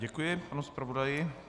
Děkuji panu zpravodaji.